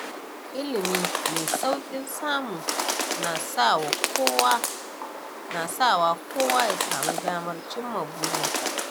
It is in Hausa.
Ilimi mai sauƙin samu na sawa kowa ya samu damar cimma burinsa.